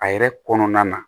A yɛrɛ kɔnɔna na